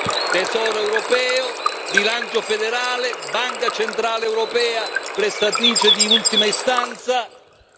E poi Tesoro europeo, bilancio federale, Banca centrale europea prestatrice di ultima istanza.